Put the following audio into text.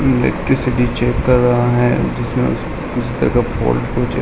electricity check कर रहा है जिसमें जगह फॉल्ट --